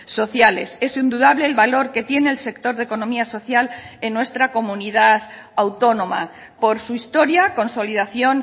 sociales es indudable el valor que tiene el sector de economía social en nuestra comunidad autónoma por su historia consolidación